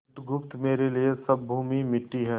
बुधगुप्त मेरे लिए सब भूमि मिट्टी है